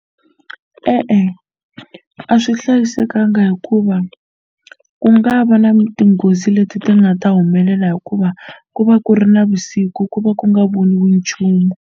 E-e a swi hlayisekanga hikuva ku nga va na tinghozi leti ti nga ta humelela hikuva ku va ku ri navusiku ku va ku nga voniwi nchumu.